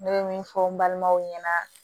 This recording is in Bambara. Ne bɛ min fɔ n balimaw ɲɛna